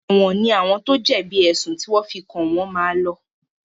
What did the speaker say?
Èwọ̀n ní àwọn tó jẹ̀bi èsùn tí wọ́n fi kàn wọ́n máa lọ.